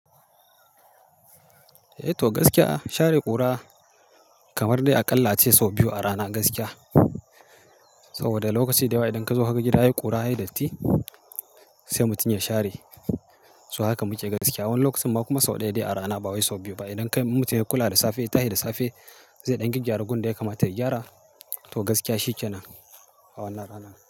Eh to gaskiya share ƙura kamar dai a ƙalla ce sau biyu a rana gaskiya. Saboda lokaci da yawa idan ka zo kaga gida yayi ƙura, yayi datti sai mutum ya share. Su haka muke gaskiya. Wani lokacin ba kuma sau ɗaya dai a rana, ba wai sau biyu ba. Idan kai mutum ya kula da safe, tahe da safe zai ɗan gygyara gundai ya kamata ya gyara. To gaskiya shi ke nan a wannan rana.